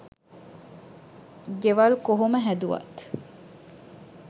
ගෙවල් කොහොම හැදුවත්